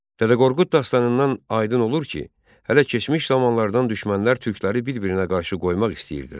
Dədə Qorqud dastanından aydın olur ki, hələ keçmiş zamanlardan düşmənlər türkləri bir-birinə qarşı qoymaq istəyirdilər.